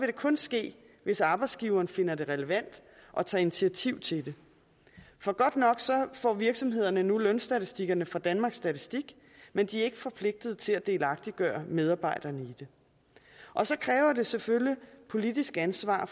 det kun ske hvis arbejdsgiveren finder det relevant at tage initiativ til det for godt nok får virksomhederne nu lønstatistikkerne fra danmarks statistik men de er ikke forpligtet til at delagtiggøre medarbejderne i dem og så kræver det selvfølgelig politisk ansvar